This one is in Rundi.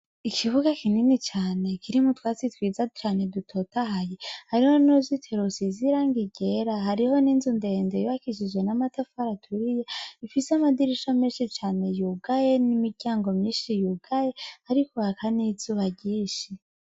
Ikibuga kinini cane kirimwo utwatsi twiza cane dutotahaye, harico n'urizitiro rusize irangi ryera, hariho n'inzu ndende yubakishijwe n'amatafari atumye, ifise amadirisha menshi cane yugaye n' imiryango myinshi yugaye, hariko haka n' izuba ryinshi .